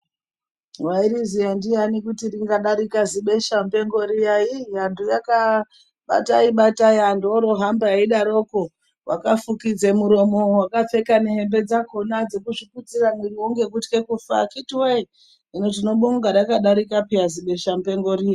Waizvizva ndiyani kuti ringadarika zibesha mupengo riya vantu vakaita batai batai vantu voroohamba veidaroko. Wakafukidza muromo wakapfeka nehembe dzakona dzekuzviputira muromo ngekutlya kufa akhiti woye hino tinobonga rakadarika zibesha mupengo riya.